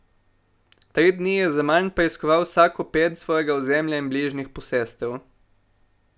Tri dni je zaman preiskoval vsako ped svojega ozemlja in bližnjih posestev.